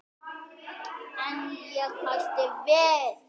En ég hætti við.